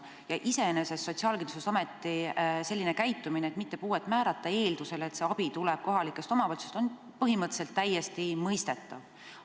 Ja iseenesest on Sotsiaalkindlustusameti selline käitumine, et puuet mitte määrata, eeldusel et abi tuleb kohalikest omavalitsustest, põhimõtteliselt täiesti mõistetav.